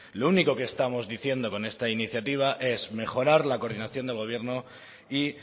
lo único que estamos diciendo con esta iniciativa es mejorar la coordinación del gobierno y